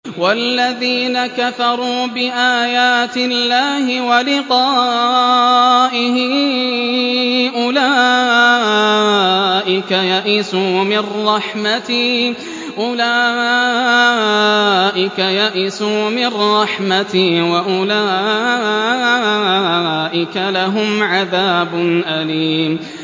وَالَّذِينَ كَفَرُوا بِآيَاتِ اللَّهِ وَلِقَائِهِ أُولَٰئِكَ يَئِسُوا مِن رَّحْمَتِي وَأُولَٰئِكَ لَهُمْ عَذَابٌ أَلِيمٌ